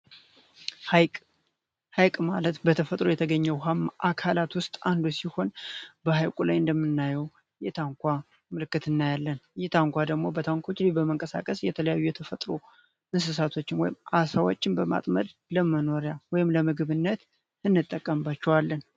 ሐይቅ ሐይቅ ማለት በተፈጥሮ የተገኘ ውሃማ አካላት ውስጥ አንዱ ሲሆን፤ በሃይቁ ላይ እንደምናየው የታንኳ ምልክትና እናያለን። ይህ ታንኳ ደግሞ በታንኮች በመንቀሳቀስ የተለያዩ የተፈጥሩ እንሰሳቶችን ወይም አሳዎችን በማጥመድ ለመኖሪያ ወይም ለምግብነት እንጠቀንባቸዋለን።